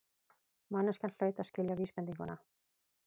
Manneskjan hlaut að skilja vísbendinguna.